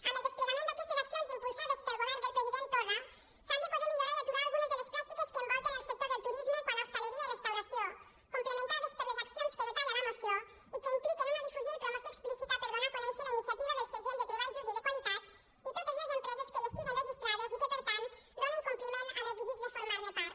amb el desplegament d’aquestes accions impulsades pel govern del president torra s’han de poder millorar i aturar algunes de les pràctiques que envolten el sector del turisme quant a hostaleria i restauració complementades per les accions que detalla la moció i que impliquen una difusió i promoció explícita per donar a conèixer la iniciativa del segell de treball just i de qualitat i totes les empreses que hi estiguin registrades i que per tant donen compliment als requisits de formar ne part